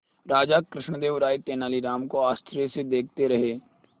राजा कृष्णदेव राय तेनालीराम को आश्चर्य से देखते रहे